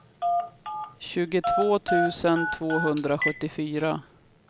tjugotvå tusen tvåhundrasjuttiofyra